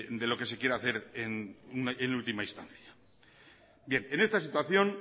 de lo que se quiere hacer en última instancia bien en esta situación